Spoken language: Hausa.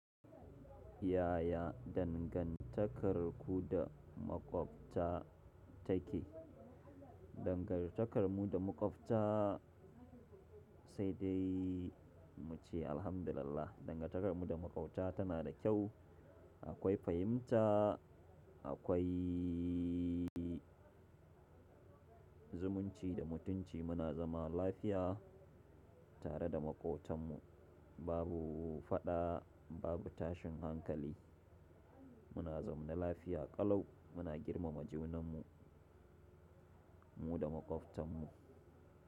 Yaya dangantakarku da maƙwabta take? Dangantakarmu da maƙwabta sai dai muce Alhamdu lillah. Dangantakarmu da maƙwabta tana da kyau. Akwai fahimta, akwai zumunci da mutunci. Muna zama lafiya tare da maƙotanmu. Babu faɗa, babu tashin hankali. Muna zaune lafiya ƙalau. Muna girmama junanmu, mu da maƙwabtanmu.